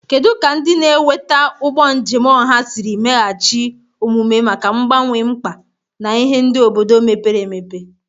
Kedu ka ndị na-eweta ụgbọ njem ọha siri meghachi omume maka mgbanwe mkpa na ihe ndị obodo mepere emepe?